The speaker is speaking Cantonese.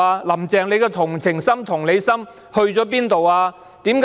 "林鄭"的同情心、同理心哪裏去了？